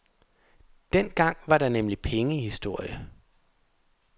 Dengang var der nemlig penge i historie.